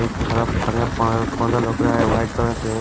white colour से--